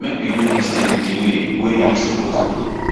make we do tins di way wey e suppose be